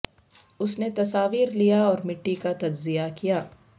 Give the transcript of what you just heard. اس نے تصاویر لیا اور مٹی کا تجزیہ کیا